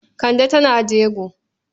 Kande tana jego.